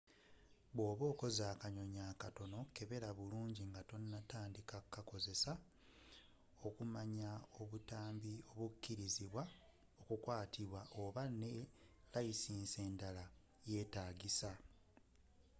bwoba okoze akanyonyi akatono kebera bulungi nga tonnakakozesa okumanya obutambi obukkirizibwa okukwatibwa oba waliwo ne layisinsi endala eyetagisibwa